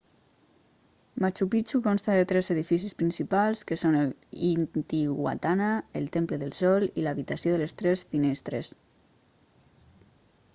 machu picchu consta de tres edificis principals que són el intihuatana el temple del sol i l'habitació de les tres finestres